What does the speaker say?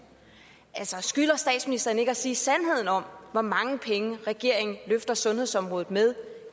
altså skylder statsministeren ikke at sige sandheden om hvor mange penge regeringen løfter sundhedsområdet med